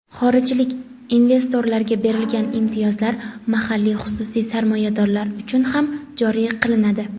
xorijlik investorlarga berilgan imtiyozlar mahalliy xususiy sarmoyadorlar uchun ham joriy qilinadi.